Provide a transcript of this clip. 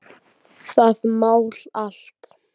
Nei, ég segi bara svona.